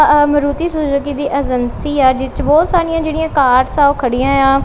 ਆ ਮਰੂਤੀ ਸੂਜੂਕੀ ਦੀ ਏਜੰਸੀ ਆ ਜਿਸ ਚ ਬਹੁਤ ਸਾਰੀਆਂ ਜਿਹੜੀਆਂ ਕਾਰਸ ਆ ਉਹ ਖੜੀਆਂ ਆ।